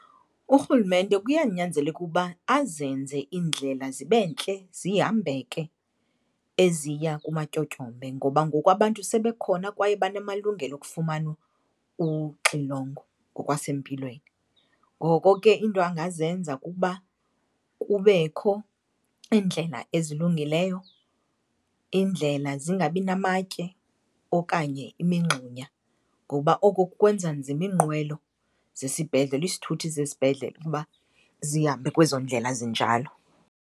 Urhulumente kuyanyanzeleka ukuba azenze iindlela zibe ntle, zihambeke, eziya kumatyotyombe. Ngoba ngoku abantu sebekhona kwaye banamalungelo okufumana uxilongo ngokwasempilweni. Ngoko ke iinto angazenza kukuba kubekho iindlela ezilungileyo, iindlela zingabinamatye okanye imingxunya ngoba oko kwenza nzima iinqwelo zesibhedlele, isithuthi zesibhedlele, ukuba zihambe kwezo ndlela zinjalo.